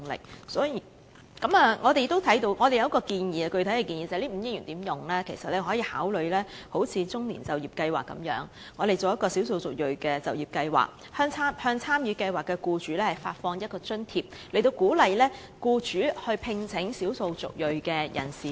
我們對如何運用這筆5億元的撥款有一項具體建議，就是政府其實可以參考"中年就業計劃"，推行"少數族裔就業計劃"，向參與計劃的僱主發放一筆津貼，以鼓勵僱主聘請少數族裔人士。